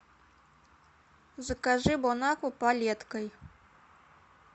закажи бон акву палеткой